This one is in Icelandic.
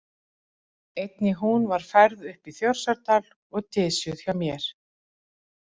Einnig hún var færð upp í Þórsárdal og dysjuð hjá mér.